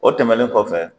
O tɛmɛnen kɔfɛ